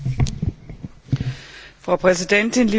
Frau Präsidentin, liebe Kolleginnen und Kollegen!